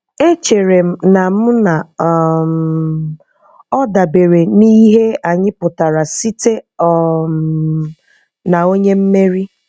Echere m na m na um ọ dabere n'ihe anyị pụtara site um na "onye mmeri."